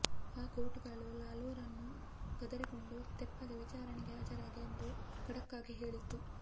ಆ ಕೋರ್ಟುಗಳು ಲಾಲೂರನ್ನು ಗದರಿಕೊಂಡು ತೆಪ್ಪಗೆ ವಿಚಾರಣೆಗೆ ಹಾಜರಾಗಿ ಎಂದು ಖಡಕ್ಕಾಗಿ ಹೇಳಿತ್ತು